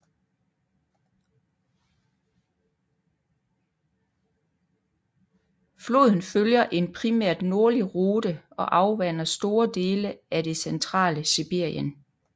Floden følger en primært nordlig rute og afvander store dele af det centrale Sibirien